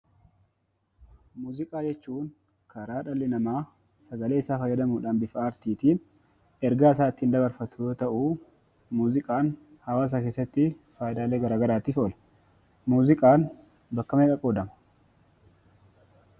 Muuziqaa jechuun karaa dhalli namaa sagaleesaa fayyadamuudhaan bifa aartiitiin ergaasaa ittiin dabarfatu yoo ta'uu muuziqaan hawaasa keessattii faayidaalee garaa garaatiif oola. Muuziqaan bakka meeqatti qoodama?